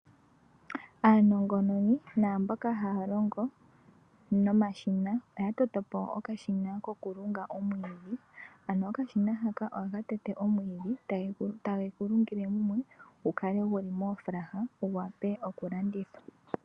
Aanongononi naamboka haya longo nomashina oya toto po okashina kokulunga omwiidhi. Ano okashina haka ohaka tete omwiidhi take gu lungile mumwe gu kale gu li moofulaha gu wape okulandithwa.